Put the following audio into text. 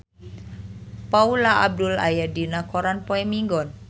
Paula Abdul aya dina koran poe Minggon